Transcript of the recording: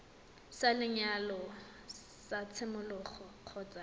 sa lenyalo sa tshimologo kgotsa